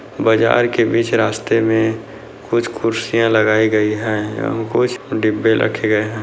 बाज़ार के बीच रास्ते में कुछ कुर्सियाँ लगायी गयी हैं कुछ डिब्बे रखे गए हैं।